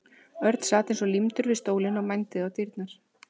Örn sat eins og límdur við stólinn og mændi á dyrnar.